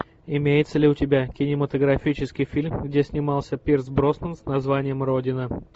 имеется ли у тебя кинематографический фильм где снимался пирс броснан с названием родина